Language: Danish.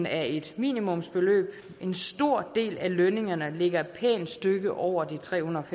er et minimumsbeløb en stor del af lønningerne ligger et pænt stykke over de trehundrede